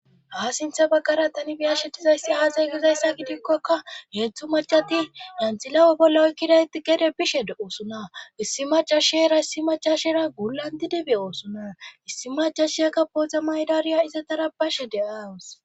ha sintha baggara tani biyashetizayssi aasay gizayssa gidikkokka heetztzhu macati yantilawe bolla oykkidayti gede bishe oosuna issi macashiera issi macasheera gulanti dibe oosuna issi macasheyaka booza maydariya ize dara bashe de7aawus